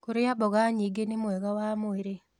Kũrĩa mmboga nyĩngĩ nĩ mwega wa mwĩrĩ